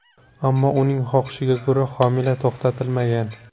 Ammo uning xohishiga ko‘ra, homila to‘xtatilmagan.